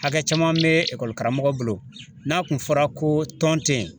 Hakɛ caman bɛ ekɔli karamɔgɔ bolo n'a kun fɔra ko tɔn tɛ ye